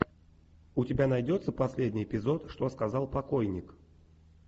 у тебя найдется последний эпизод что сказал покойник